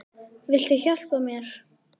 Viltu hjálpa mér?